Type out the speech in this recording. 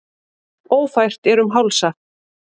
Ófært er um Hálsa